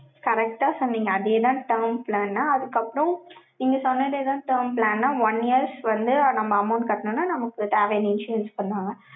correct ஆ சொன்னீங்க, அதே தான் term plan ன்னு. அதுக்கப்புறம், நீங்க சொன்னதேதான் term plan. one years வந்து, நம்ம amount கட்டணும்ன்னா, நமக்கு தேவையான issues பண்ணுவாங்க.